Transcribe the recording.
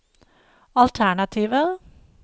alternativer